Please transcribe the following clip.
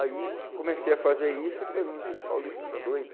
Aí comecei a fazer isso e todo mundo disse, Paulista, está doido?